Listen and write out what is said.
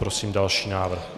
Prosím další návrh.